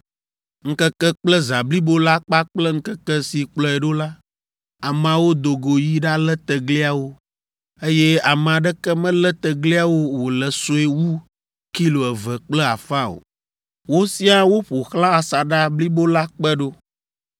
Ŋkeke kple zã blibo la kpakple ŋkeke si kplɔe ɖo la, ameawo do go yi ɖalé tegliawo, eye ame aɖeke melé tegliawo wòle sue wu kilo eve kple afã o. Wosia wo ƒo xlã asaɖa blibo la kpe ɖo.